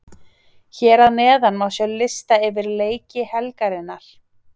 Hér að neðan má sjá lista yfir leiki helgarinnar.